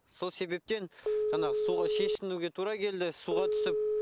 сол себептен жаңағы суға шешінуге тура келді суға түсіп